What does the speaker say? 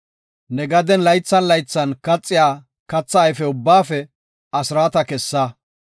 Ne gaden laythan laythan kaxiya katha ayfe ubbaafe asraata kessa.